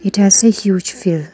It has a huge hill.